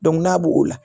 n'a b'o la